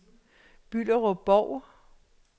Bylderup-Bov